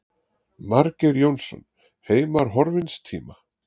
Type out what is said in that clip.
Margeir Jónsson, Heimar horfins tíma.